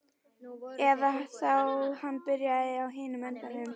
Eða þá hann byrjaði á hinum endanum.